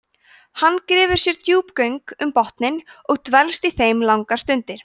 hann grefur sér djúp göng um botninn og dvelst í þeim langar stundir